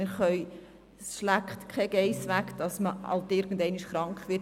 Man kann nicht verhindern, dass man irgendeinmal krank wird.